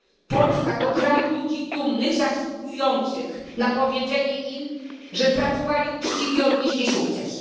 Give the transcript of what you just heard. Polska to kraj ludzi dumnych, zasługujących na powiedzenie im, że pracowali uczciwie, odnieśli sukces.